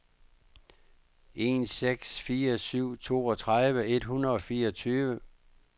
en seks fire syv toogtredive et hundrede og fireogtyve